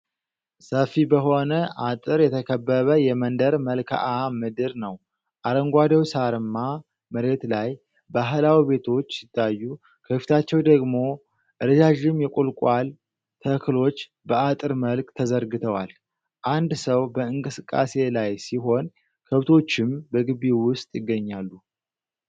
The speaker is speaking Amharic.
ሰፊ በሆነ አጥር የተከበበ የመንደር መልክዓ ምድር ነው። አረንጓዴው ሳርማ መሬት ላይ ባህላዊ ቤቶች ሲታዩ ከፊታቸው ደግሞ ረዣዥም የቁልቋል ተክሎች በአጥር መልክ ተዘርግተዋል። አንድ ሰው በእንቅስቃሴ ላይ ሲሆን ከብቶችም በግቢው ውስጥ ይገኛሉ።